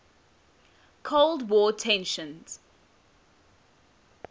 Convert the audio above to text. cold war tensions